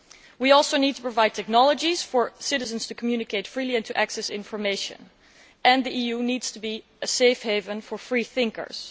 We also need to provide technologies for citizens to communicate freely and to access information, and the EU needs to be a safe haven for free thinkers.